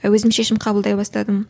өзім шешім қабылдай бастадым